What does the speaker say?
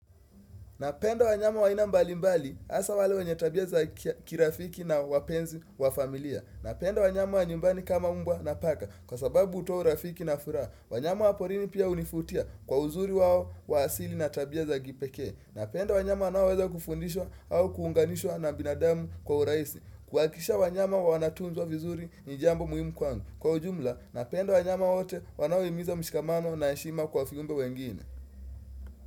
Napenda nyama aina mbali mbali asa wale wenye tabia za kirafiki na wapenzi wa familia. Napendo wanyama wa nyumbani kama umbwa na paka kwa sababu utora urafiki na furaha. Wanyama wa porini pia unifutia kwa uzuri wao wa asili na tabia za kipekee Napendo wanyama wanaoweza kufundishwa au kuhunganishwa na binadamu kwa urahisi. Kuwakisha wanyama wa wanatunzua vizuri ni jambo muhimu kwangu. Kwa ujumla, napenda wanyama wote wanaohimiza mshikamano na heshima kwa viumbe wengine.